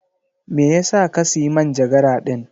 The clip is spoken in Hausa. Me yasa ka siya manjagara din?